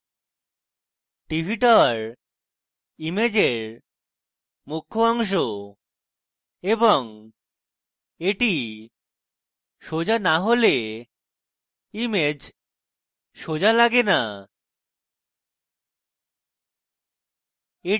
tv tower ইমেজের মুখ্য অংশ এবং the সোজা the হলে image সোজা লাগে the